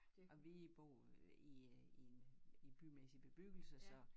Og vi boede i øh i en øh i en bymæssig bebyggelse så